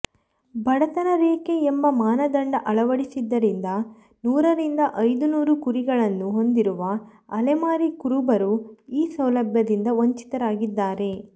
ಬಡತನ ರೇಖೆ ಎಂಬ ಮಾನದಂಡ ಅಳವಡಿಸಿದ್ದರಿಂದ ನೂರರಿಂದ ಐದು ನೂರು ಕುರಿಗಳನ್ನು ಹೊಂದಿರುವ ಅಲೆಮಾರಿ ಕುರುಬರು ಈ ಸೌಲಭ್ಯದಿಂದ ವಂಚಿತರಾಗಿದ್ದಾರೆ